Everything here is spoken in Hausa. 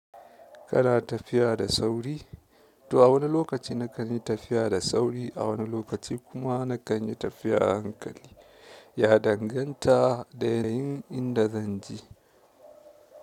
Kana tafiya da sauri? To a wani lokacin nakan yi tafiya da sauri a wani lokaci kuma nakan yi tafiya a hankali. Ya danganta da yayin inda zan je.